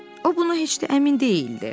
O buna heç də əmin deyildi.